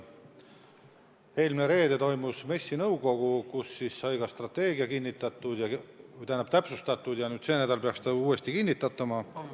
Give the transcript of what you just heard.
Eelmine reede toimus MES-i nõukogu koosolek, kus sai strateegia täpsustatud, ja see nädal peaks see kinnitatama.